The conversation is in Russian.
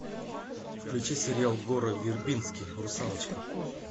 включи сериал гора вербински русалочка